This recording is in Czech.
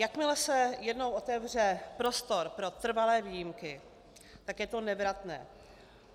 Jakmile se jednou otevře prostor pro trvalé výjimky, tak je to nevratné.